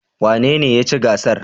Wanene ya ci gasar?